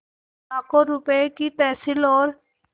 लाखों रुपये की तहसील और